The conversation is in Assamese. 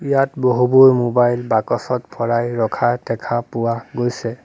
ইয়াত বহুবোৰ মোবাইল বাকচত ভৰাই ৰখা দেখা পোৱা গৈছে।